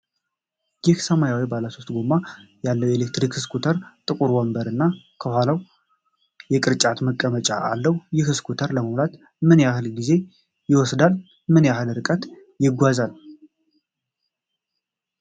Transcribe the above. ይህ ሰማያዊ ባለሦስት ጎማ ያለው የኤሌክትሪክ ስኩተር ጥቁር ወንበር እና ከኋላ የቅርጫት ማስቀመጫ አለው። ይህ ስኩተር ለመሙላት ምን ያህል ጊዜ ይወስዳል እና ምን ያህል ያህል ርቀት ይጓዛል?